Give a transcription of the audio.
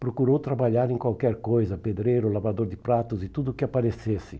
Procurou trabalhar em qualquer coisa, pedreiro, lavador de pratos e tudo o que aparecesse.